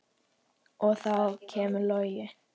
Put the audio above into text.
Og þá kemur Logi.